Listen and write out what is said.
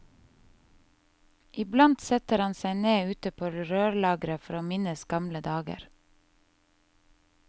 Iblant setter han seg ned ute på rørlageret for å minnes gamle dager.